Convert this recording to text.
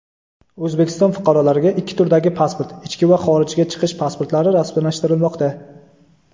O‘zbekiston fuqarolariga ikki turdagi pasport – ichki va xorijga chiqish pasportlari rasmiylashtirilmoqda.